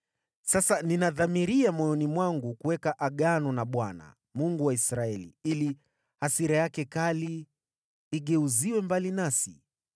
Sasa ninadhamiria moyoni mwangu kuweka Agano na Bwana , Mungu wa Israeli, ili hasira yake kali igeuziwe mbali nasi.